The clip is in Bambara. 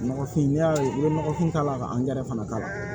Nɔgɔfin n'i y'a ye n'i ye nɔgɔfin k'a la ka fana k'a la